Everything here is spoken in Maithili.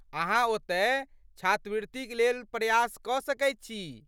अहाँ ओतय, छात्रवृतिक लेल प्रयास कऽ सकैत छी।